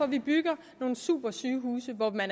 vi bygger nogle supersygehuse hvor man